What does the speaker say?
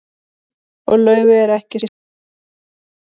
Og Laufey er ekki síður gáfuð en hann.